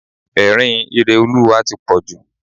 Ẹ̀rín Ireolúwa tí pọ̀ jù.